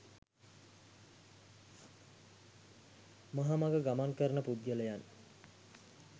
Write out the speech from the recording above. මහ මඟ ගමන් කරන පුද්ගලයන්